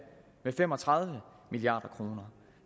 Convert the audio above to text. med fem og tredive milliard kroner